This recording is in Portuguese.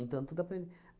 Então, tudo aprende.